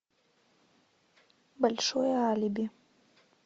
большое алиби